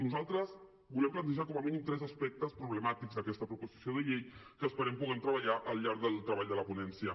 nosaltres volem plantejar com a mínim tres aspectes problemàtics d’aquesta proposició de llei que esperem que puguem treballar al llarg del treball de la ponència